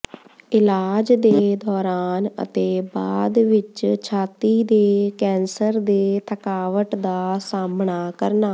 ਇਲਾਜ ਦੇ ਦੌਰਾਨ ਅਤੇ ਬਾਅਦ ਵਿੱਚ ਛਾਤੀ ਦੇ ਕੈਂਸਰ ਦੇ ਥਕਾਵਟ ਦਾ ਸਾਮ੍ਹਣਾ ਕਰਨਾ